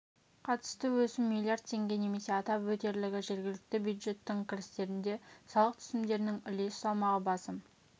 қатысты өсім миллиард теңге немесе атап өтерлігі жергілікті бюджеттің кірістерінде салық түсімдерінің үлес салмағы басым